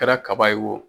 Kɛra kaba ye wo